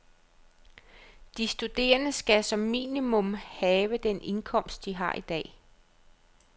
De studerende skal som minimum have den indkomst, de har i dag.